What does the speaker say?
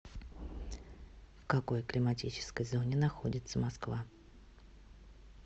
в какой климатической зоне находится москва